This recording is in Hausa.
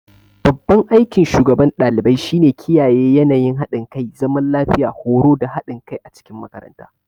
Babban aikin shugaban ɗalibai shine kiyaye yanayin haɗin kai, zaman lafiya, horo da haɗin kai a cikin makaranta.